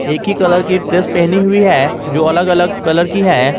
एक ही कलर की ड्रेस पहनी हुई है जो अलग अलग कलर की है।